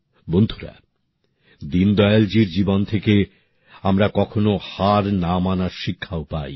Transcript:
বন্ধুরা দীনদয়ালজীর জীবন থেকে আমরা কখনও হার না মানার শিক্ষাও পাই